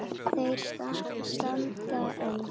Þeir standa enn.